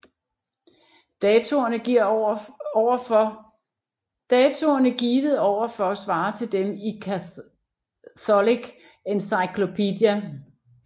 Datoerne givet over for svarer til dem i Catholic Encyclopedia